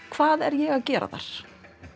hvað er ég að gera þar